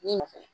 Ne nɔfɛ